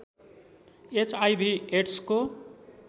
HIV एड्सको